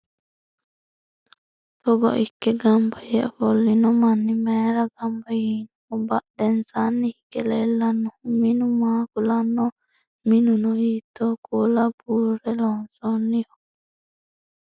togo ikke ganba yee ofollino manni mayeera ganba yiinoho? badhensaanni hige leellannohu minu maa kulannoho? minuno hiittoo kuula buurre loonsoonniho?